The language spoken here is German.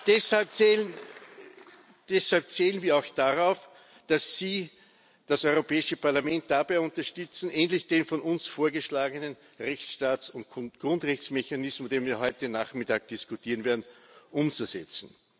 Deshalb zählen wir auch darauf, dass Sie das Europäische Parlament dabei unterstützen, endlich den von uns vorgeschlagenen Rechtsstaats und Grundrechtsmechanismus, über den wir heute Nachmittag diskutieren werden, umzusetzen.